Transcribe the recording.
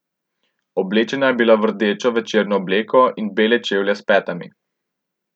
Oblečena je bila v rdečo večerno obleko in bele čevlje s petami.